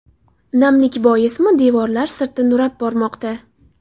Namlik boismi, devorlar sirti nurab bormoqda.